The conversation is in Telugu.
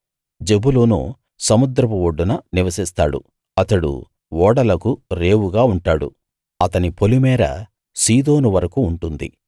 జెబూలూను సముద్రపు ఒడ్డున నివసిస్తాడు అతడు ఓడలకు రేవుగా ఉంటాడు అతని పొలిమేర సీదోను వరకూ ఉంటుంది